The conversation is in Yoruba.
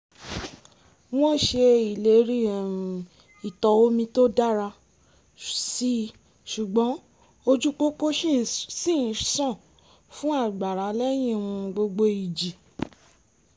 wọ́n ṣe ìlérí um ìtọ̀ omi tó dára síi ṣùgbọ́n ojú pópó ṣì ń ṣàn fún àgbàrá lẹ́yìn um gbogbo ìjì